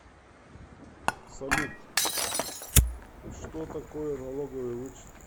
салют что такое налоговый вычет